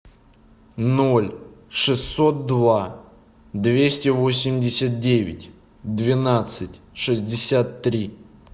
ноль шестьсот два двести восемьдесят девять двенадцать шестьдесят три